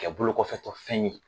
Kɛ bolo kɔfɛtɔ fɛn ye